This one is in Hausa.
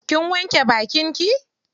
Kin wanke bakin ki?